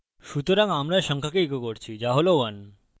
সুতরাং আমরা সংখ্যাকে echo করছি so হল 1